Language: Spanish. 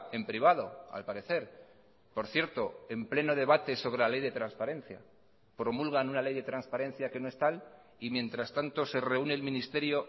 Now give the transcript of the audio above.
en privado al parecer por cierto en pleno debate sobre la ley de transparencia promulgan una ley de transparencia que no es tal y mientras tanto se reúne el ministerio